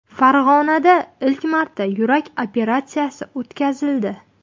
Farg‘onada ilk marta yurak operatsiyasi o‘tkazildi.